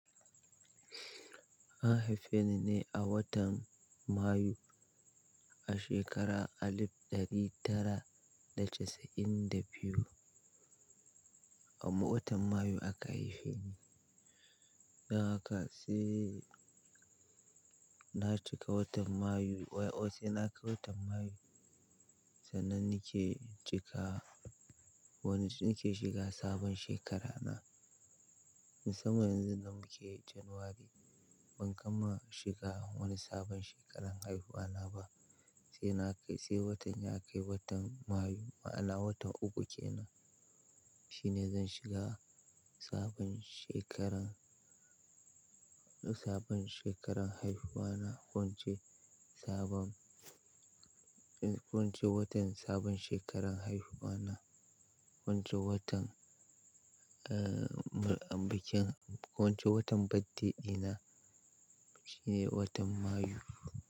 An haife ni ne a watan Mayu a shekara alif ɗari tara da casa'in da biyu. A watan Mayu aka haife ni. Dan haka sai na cika watan Mayu, sai na kai watan Mayu sannan nake cika wani, nake shiga sabon shekara na. Saboda yanzu da muke Janairu, ban kama shiga wani sabon shekaran haihuwa na ba. Sai na kai, sai watan ya kai watan Mayu, ma'ana watan uku kenan shine zan shiga sabon shekaran, sabon shekaran haihuwa na wance sabon, ko ince watan sabon shekaran haihuwa na, ko ince watan, bikin ki ince watan birthday dina shine watan Mayu.